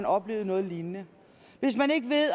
oplevet noget lignende hvis man ikke ved